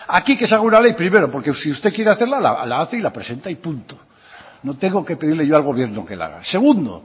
aquí que salga una ley primero porque si usted quiere hacerla la hace y la presenta y punto no tengo que pedirle yo al gobierno que la haga segundo